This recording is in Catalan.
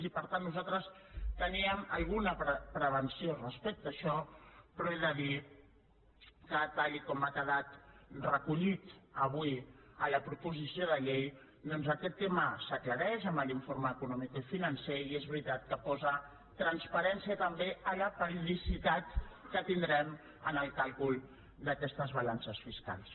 i per tant nosaltres teníem alguna prevenció respecte a això però he de dir que tal com ha quedat recollit avui en la proposició de llei doncs aquest tema s’aclareix amb l’informe econòmic i financer i és veritat que posa transparència també a la periodicitat que tindrem en el càlcul d’aquestes balances fiscals